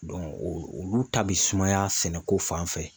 o olu ta bɛ sumaya sɛnɛko fan fɛ.